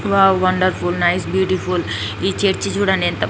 wow wonderful nice beautiful ఈ church చూడండి ఎంత--